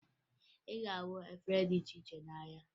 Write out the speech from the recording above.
Ị ga-ahụ ụdị efere dị iche iche n'ahịa